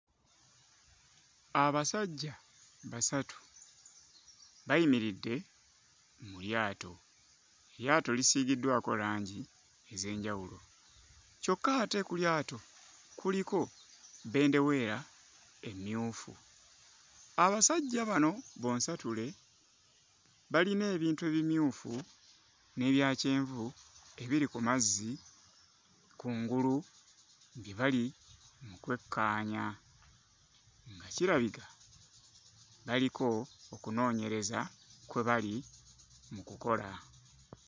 Abasajja basatu bayimiridde mu lyato. Eryato lisiigiddwako langi ez'enjawulo. Kyokka ate ku lyato kuliko bendeweera emmyufu. Abasajja bano bonsatule balina ebintu ebimyufu n'ebya kyenvu ebiri ku mazzi kungulu bye bali mu kwekkaanya. Kirabika baliko okunnoonyeza kwe bali mu kukola.